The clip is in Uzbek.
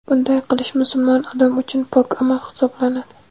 Bunday qilish musulmon odam uchun pok amal hisoblanadi.